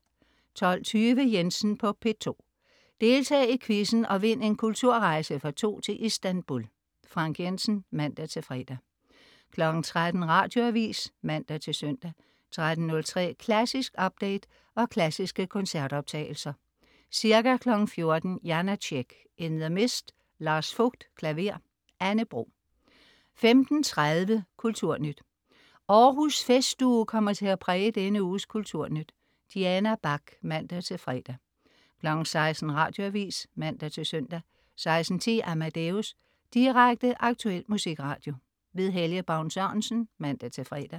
12.20 Jensen på P2. Deltag i quizzen og vind en kulturrejse for to til Istanbul. Frank Jensen (man-fre) 13.00 Radioavis (man-søn) 13.03 Klassisk update og klassiske koncertoptagelser. Ca. 14.00 Janácek: In the Mists. Lars Vogt, klaver. Anne Bro 15.30 Kulturnyt. Århus Festuge kommer til at præge denne uges Kulturnyt. Diana Bach (man-fre) 16.00 Radioavis (man-søn) 16.10 Amadeus. Direkte, aktuel musikradio. Helge Baun Sørensen (man-fre)